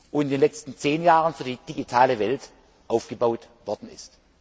und in den letzten zehn Jahren für die digitale Welt aufgebaut worden ist.